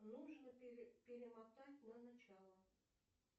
нужно перемотать на начало